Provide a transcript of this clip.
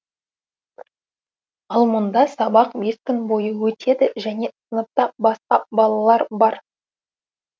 ал мұнда сабақ бес күн бойы өтеді және сыныпта басқа балалар бар